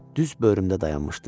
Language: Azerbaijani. Düz börümdə dayanmışdı.